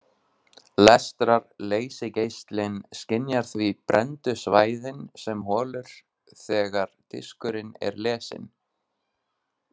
Lestrar-leysigeislinn skynjar því brenndu svæðin sem holur þegar diskurinn er lesinn.